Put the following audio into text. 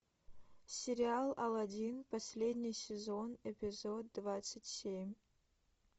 сериал алладин последний сезон эпизод двадцать семь